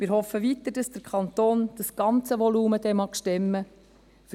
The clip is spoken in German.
Wir hoffen weiter, dass der Kanton das ganze Volumen zu stemmen vermag.